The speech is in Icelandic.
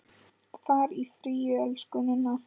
Far í friði, elsku Ninna.